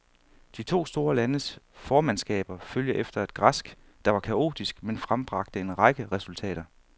De to store landes formandskaber følger efter et græsk, der var kaotisk men frembragte en række resultater.